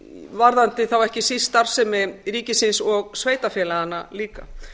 varðandi þá ekki síst starfsemi ríkisins og sveitarfélaganna líka